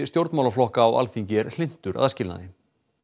stjórnmálaflokka á Alþingi er hlynntur aðskilnaði